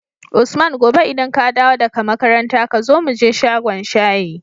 usman gobe idan kadawo da ka makaranta kazo muje shagon shayi